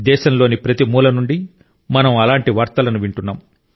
దేశంలోని ప్రతి మూల నుండి మనం అలాంటి వార్తలను వింటున్నాం